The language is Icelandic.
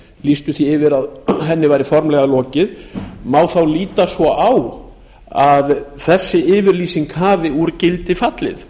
lýstu því yfir að henni væri formlega lokið má þá líta svo á að þessi yfirlýsing hafi úr gildi fallið